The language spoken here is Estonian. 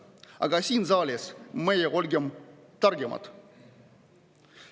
Aga meie siin saalis olgem targemad.